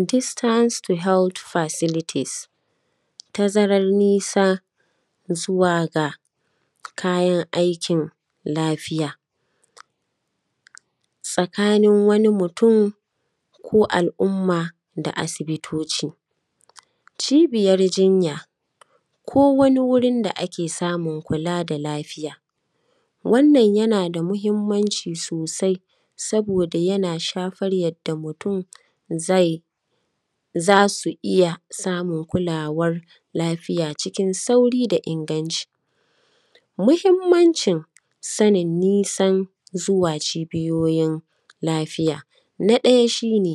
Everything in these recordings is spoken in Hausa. “Distance to health facilities”, tazaran nisa zuwa ga kayan aikin lafiya tsakanin wani mutun ko al’umma da asibitoci. Cibiyar jinya, ko wani wurin da ake samun kula da lafiya, wannan yana da muhimmanci sosai, saboda yana shafar yadda mutun zai; za su iya samun kulawar lafiya cikin sauri da inganci. Muhimmancin sanin nisan zuwa cibiyoyin lafiya, na ɗaya shi ne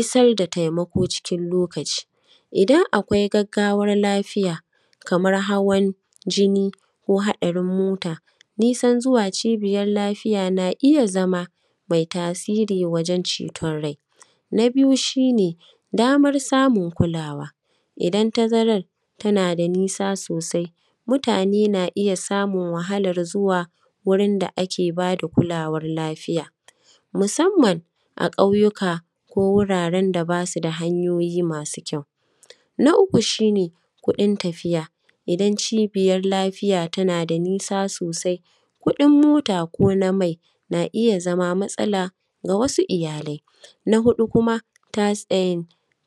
isar da taimako cikin lokaci, idan akwai gaggawar lafiya kamar hawan jini ko haɗarin mota, nisan zuwa cibiyal lafiya na iya zama mai tasiri wajen ceton rai. Na biyu, shi ne damar samun kulawa, idan tazarar tana da nisa sosai, mutane na iya samun wahalar zuwa wurin da ake ba da kulawar lafiya musamman a ƙauyuka ko wuraren da ba su da hanyoyi masu kyau. Na uku, shi ne kuɗin tafiya, idan cibiyar lafiya tana da nisa sosai, kuɗin mota ko na main a iya zama matsala ga wasu iyalai. Na huɗu kuma, tasi; ai;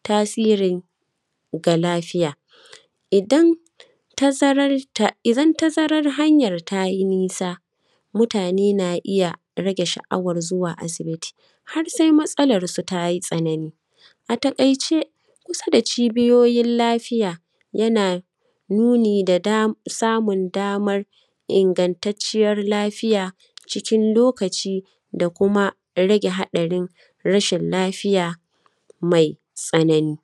tasirin ga lafiya, idan tazarar ta; idan tazarar hanyar ta yi nisa, mutane na iya rage sha’awar zuwa asibiti har sai matsalarsu ta yi tsanani. A taƙaice, kusa da cibiyoyil lafiya, yana nuni da da; samun damar ingantacciyar lafiya cikin lokaci da kuma rage haɗarin rashil lafiya mai tsanani.